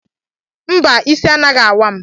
Mba, isi anaghị awa m